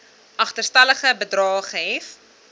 agterstallige bedrae gehef